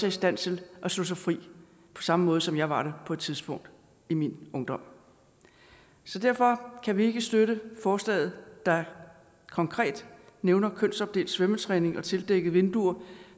i stand til at slå sig fri på samme måde som jeg var på et tidspunkt i min ungdom derfor kan vi ikke støtte forslaget der konkret nævner kønsopdelt svømmetræning og tildækkede vinduer